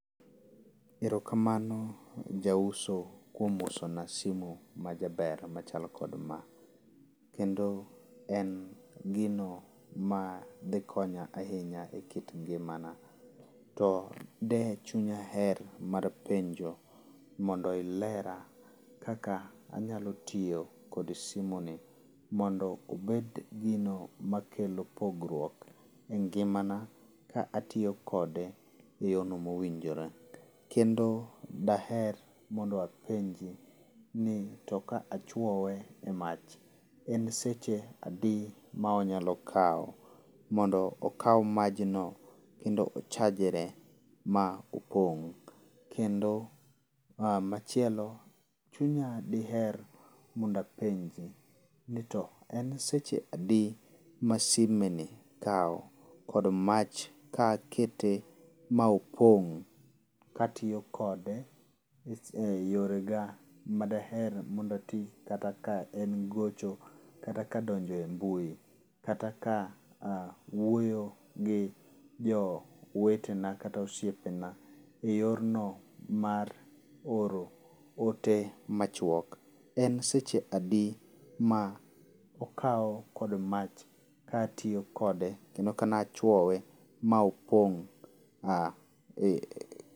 Erokamano jauso kuom usona simu majaber machalo kod ma. Kendo en gino madhi konya ahinya ekit ngimana. To de chunya her mar penjo mondo ilera kaka anyalo tiyo kod simoni mondo obed gino makelo pogruok engimana ka atiyo kode eyono mowinjore. Kendo daher mondo apenji ni ka achuoye e mach en seche adi ma onyalo kawo mondo okaw maj no kendo ochajre ma opong'? Kendo machielo, chunya diher mondo apenji nito en seche adi ma simeni kawo kod mach ka akete ma opong' katiyo kode eyore ga daher mondo ati kata ka en gocho, kata ka donjo e mbui, kata ka ah wuoyo gi jowetena kata osiepena eyorno mar oro ote machuok. En seche adi ma okawo kod mach katiyo kode kendo kane achuowe ma opong'